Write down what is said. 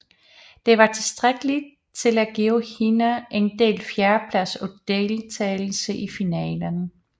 Det var tilstrækkeligt til at give hende en delt fjerdeplads og deltagelse i finalen